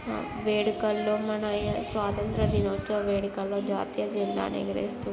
వేడుకల్లో మనం స్వతంతదినోత్సవం లో వేడుకల్లో జాతీయ జండని ఎగరేస్తునాం